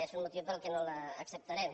és un motiu pel qual no les ac·ceptarem